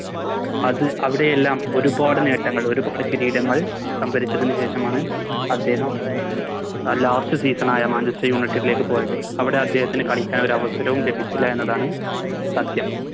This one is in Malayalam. അത് അവിടയെല്ലാം ഒരുപാട് നേട്ടങ്ങൾ ഒരുപാട് കിരീടങ്ങൾ സംഭരിച്ചതിന് ശേഷമാണ് അദ്ദേഹം ആ Last season ആയ Manchester united ലേക്ക് പോയത് അവിടെ അദ്ദേഹത്തിന് കളിക്കാൻ ഒരവസരവും ലഭിച്ചില്ല എന്നതാണ് സത്യം